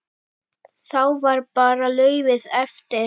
Þá var bara laufið eftir.